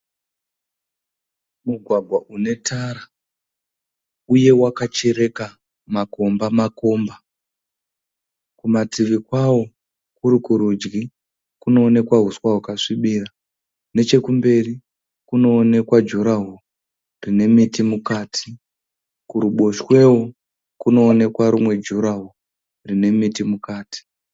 Mugwagwa unetara, uye wakachereka makombamakomba. Kuma tivi kwavo kuri kurudyi kuneonekwa huswa hwakasvibira. Nechekumberi kunoonekwa jurahoro rinemiti mukati. Kurubotshwewo kunoonekwa rimwe jurahoro rinemiti mukati.